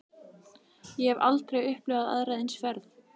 Ég hef aldrei upplifað aðra eins ferð.